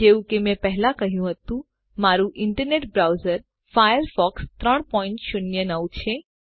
જેવું કે મેં પહેલા કહ્યું હતું મારું ઈન્ટરનેટ બ્રાઉઝર ફાયરફોક્સ 309 છે